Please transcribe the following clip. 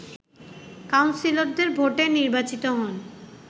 কাউন্সিলরদের ভোটে নির্বাচিত হন